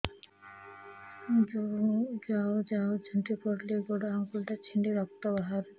ଯାଉ ଯାଉ ଝୁଣ୍ଟି ପଡ଼ିଲି ଗୋଡ଼ ଆଂଗୁଳିଟା ଛିଣ୍ଡି ରକ୍ତ ବାହାରୁଚି